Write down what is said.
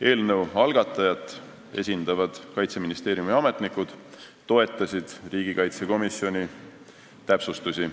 Eelnõu algatajat esindavad Kaitseministeeriumi ametnikud toetasid riigikaitsekomisjoni täpsustusi.